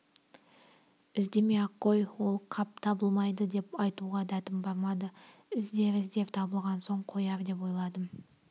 іздемей-ақ қой ол қап табылмайды деп айтуға дәтім бармады іздер-іздер табылмаған соң қояр деп ойладым